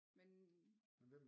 Men